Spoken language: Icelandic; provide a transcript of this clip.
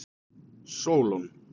Sólon